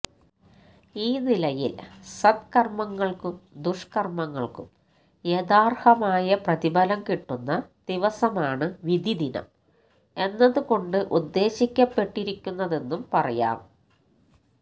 ഈ നിലയില് സത്കര്മങ്ങള്ക്കും ദുഷ്കര്മങ്ങള്ക്കും യഥാര്ഹമായ പ്രതിഫലം കിട്ടുന്ന ദിവസമാണ് വിധിദിനം എന്നതുകൊണ്ട് ഉദ്ദേശിക്കപ്പെട്ടിരിക്കുന്നതെന്നും പറയാം